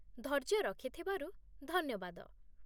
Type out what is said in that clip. ଧୈର୍ଯ୍ୟ ରଖିଥିବାରୁ ଧନ୍ୟବାଦ ।